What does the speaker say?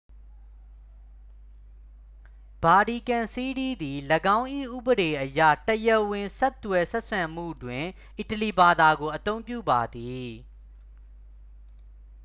ဗာတီကန်စီးတီးသည် ၎င်း၏ ဥပဒေအရတရားဝင်ဆက်သွယ်ဆက်ဆံမှုတွင် အီတလီဘာသာကို အသုံးပြုပါသည်